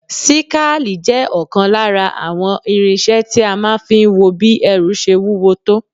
Síkáàli jẹ́ ọ̀kan lára àwọn irinṣẹ́ tí a máa ń fi wo bí ẹrù ṣe wúwo tó